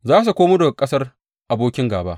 Za su komo daga ƙasar abokin gāba.